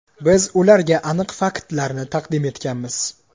Biz ularga aniq faktlarni taqdim etganmiz.